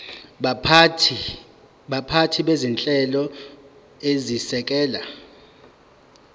baphathi bezinhlelo ezisekela